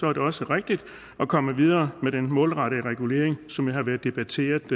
er det også rigtigt at komme videre med den målrettede regulering som jo har været debatteret